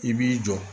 I b'i jɔ